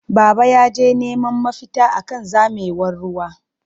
Baba yaje neman mafita akan zamewar ruwa.